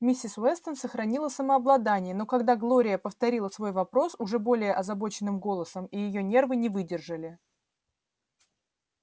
миссис вестон сохранила самообладание но когда глория повторила свой вопрос уже более озабоченным голосом и её нервы не выдержали